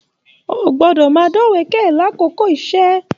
O gbọdọ máa dọ̀wẹ̀kẹ̀ l'akoko iṣẹ!